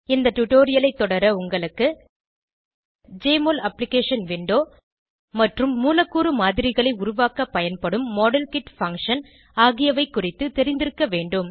இந்த டுடோரியலைத் தொடர உங்களுக்கு ஜெஎம்ஒஎல் அப்ளிகேஷன் விண்டோ மற்றும் மூலக்கூறு மாதிரிகளை உருவாக்க பயன்படும் மாடல்கிட் பங்ஷன் ஆகியவை குறித்து தெரிந்திருக்க வேண்டும்